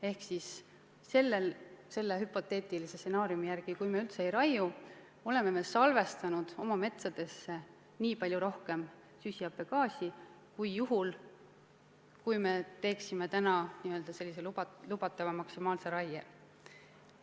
Ehk siis selle hüpoteetilise stsenaariumi järgi, kui me üldse ei raiu, oleme salvestanud oma metsadesse nii palju rohkem süsihappegaasi kui juhul, kui me teeksime lubatava maksimaalse raie.